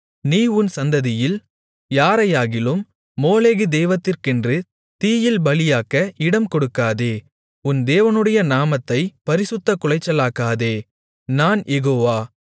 நீ உன் சந்ததியில் யாரையாகிலும் மோளேகு தெய்வத்திற்கென்று தீயில் பலியாக்க இடம்கொடுக்காதே உன் தேவனுடைய நாமத்தைப் பரிசுத்தக் குலைச்சலாக்காதே நான் யெகோவா